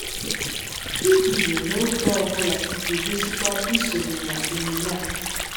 Iguzo n'ụzọ ọ bụla ga-egosikwa isonye na emume a.